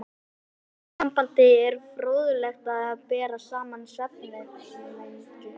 Í þessu sambandi er fróðlegt að bera saman svefnvenjur